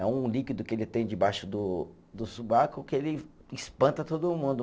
É um líquido que ele tem debaixo do do sobaco que ele espanta todo mundo.